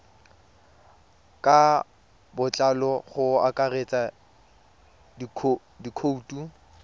ka botlalo go akaretsa dikhoutu